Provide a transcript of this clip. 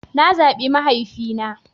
Na zaɓi mahaifina.